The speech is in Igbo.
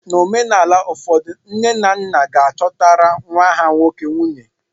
N'omenaala ụfọdụ, nne na nna ga-achọtara nwa ha nwoke nwunye.